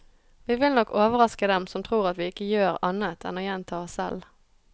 Vi vil nok overraske dem som tror at vi ikke gjør annet enn å gjenta oss selv.